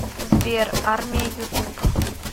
сбер армия ютуб